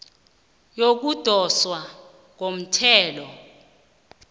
yokudoswa komthelo